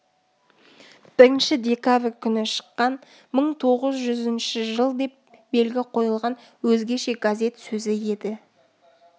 бірінші декабрь күні шыққан мың тоғыз жүзінші жыл деп белгі қойылған өзгеше газет сөзі еді